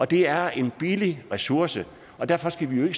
det er en billig ressource og derfor skal vi jo